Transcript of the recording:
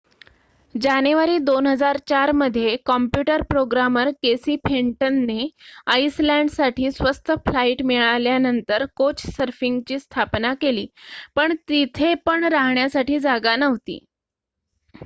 जानेवारी 2004 मध्ये computer programmer Casey फेंटनने आइसलँडसाठी स्वस्त फ्लाईट मिळाल्यानंतर कोचसर्फिंगची स्थापना केली पण तेथे पण राहण्यासाठी जागा नव्हती